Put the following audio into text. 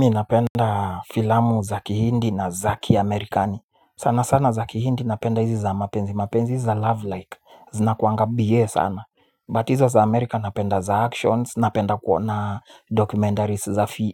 Mi napenda filamu zaki hindi na zaki amerikani. Sana sana zaki hindi napenda hizi za mapenzi. Mapenzi hizi za love like zinakuwanga biye sana But hizo za amerika napenda za actions. Napenda kuona documentaries